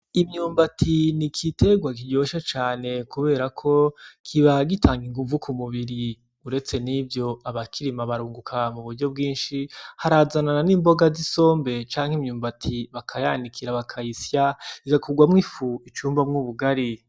Imyumbati n'igiterwa kiryoshe cane kuberako kiba gitanga inguvu ku mubiri uretse nivyo abakirima barunguka mu buryo bwishi harazanana n'imboga zisombe canke imyumbati bakayanikira bakayisya igakorwamwo ifu ikurwamwo ubugari.